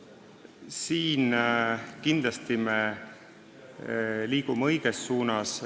Siin kindlasti me liigume õiges suunas.